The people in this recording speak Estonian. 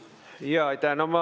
Jaa, aitäh!